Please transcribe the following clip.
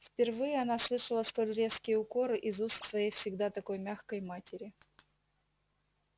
впервые она слышала столь резкие укоры из уст своей всегда такой мягкой матери